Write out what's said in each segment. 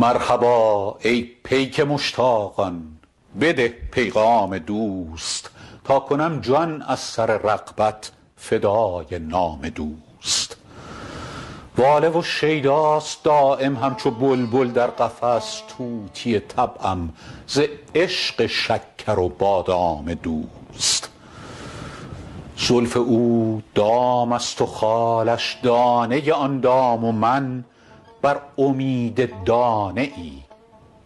مرحبا ای پیک مشتاقان بده پیغام دوست تا کنم جان از سر رغبت فدای نام دوست واله و شیداست دایم همچو بلبل در قفس طوطی طبعم ز عشق شکر و بادام دوست زلف او دام است و خالش دانه آن دام و من بر امید دانه ای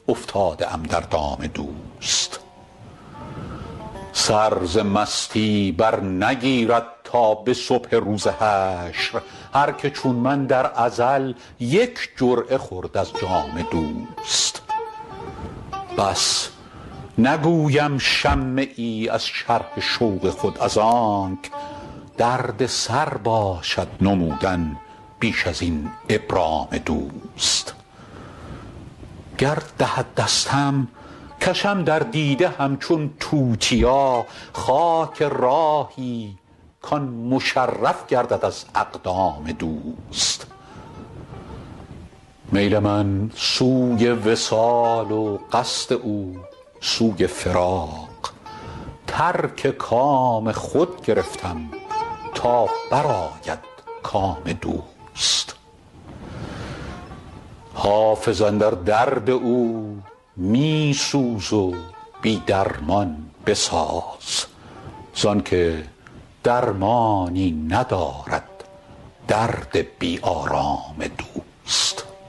افتاده ام در دام دوست سر ز مستی برنگیرد تا به صبح روز حشر هر که چون من در ازل یک جرعه خورد از جام دوست بس نگویم شمه ای از شرح شوق خود از آنک دردسر باشد نمودن بیش از این ابرام دوست گر دهد دستم کشم در دیده همچون توتیا خاک راهی کـ آن مشرف گردد از اقدام دوست میل من سوی وصال و قصد او سوی فراق ترک کام خود گرفتم تا برآید کام دوست حافظ اندر درد او می سوز و بی درمان بساز زان که درمانی ندارد درد بی آرام دوست